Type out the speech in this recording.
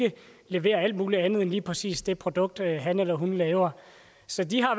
levere alt muligt andet end lige præcis det produkt han eller hun laver så de har